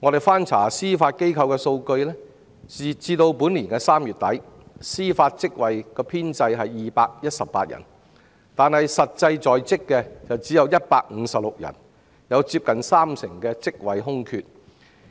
翻查司法機構的數據，截至本年3月底，司法職位編制共有218人，但實際在職的只有156人，有接近三成的職位空缺。